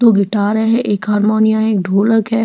दो गिटार है एक हारमोनिया एक ढोलक है।